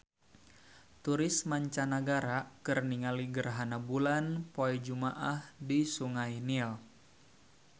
Turis mancanagara keur ningali gerhana bulan poe Jumaah di Sungai Nil